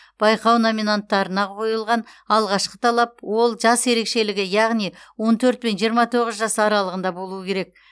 байқау номинаттарына қойылған алғашқы талап ол жас ерекшелігі яғни он төрт пен жиырма тоғыз жас аралығында болуы керек